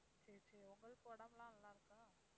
சரி, சரி உங்களுக்கு உடம்பு எல்லாம் நல்லா இருக்கா?